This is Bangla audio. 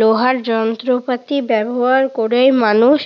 লোহার যন্ত্রপাতি ব্যবহার করেই মানুষ